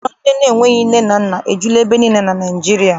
Ụlọ ndị enweghị nne na nna ejula ebe niile na Naịjirịa.